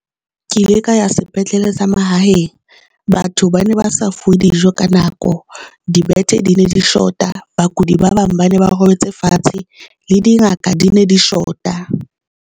Ke ile ka ya sepetlele sa mahaeng. Batho ba ne ba sa fuwe dijo ka nako, di bethe di ne di short-a, bakudi ba bang ba ne ba robetse fatshe, le dingaka di ne di short-a.